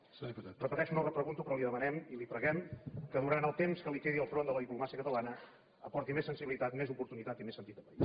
ho repeteixo no repregunto però li demanem i li preguem que durant el temps que li quedi al front de la diplomàcia catalana aporti més sensibilitat més oportunitat i més sentit de país